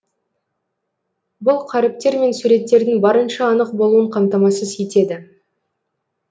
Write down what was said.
бұл қаріптер мен суреттердің барынша анық болуын қамтамасыз етеді